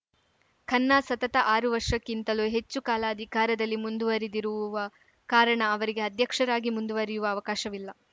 ಖನ್ನಾ ಸತತ ಆರು ವರ್ಷಕ್ಕಿಂತಲೂ ಹೆಚ್ಚು ಕಾಲ ಅಧಿಕಾರದಲ್ಲಿ ಮುಂದುವರಿದಿರುವ ಕಾರಣ ಅವರಿಗೆ ಅಧ್ಯಕ್ಷರಾಗಿ ಮುಂದುವರಿಯುವ ಅವಕಾಶವಿಲ್ಲ